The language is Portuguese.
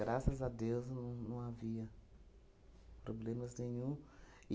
Graças a Deus, não não havia problemas nenhum.